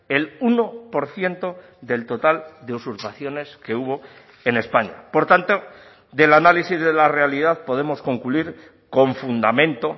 el uno por ciento del total de usurpaciones que hubo en españa por tanto del análisis de la realidad podemos concluir con fundamento